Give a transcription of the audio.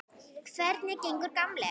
Hvernig gengur, gamli